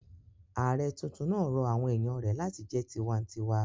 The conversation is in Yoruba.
Ààrẹ tuntun rọ àwọn èèyàn rẹ̀ láti jẹ́ tinwatinwa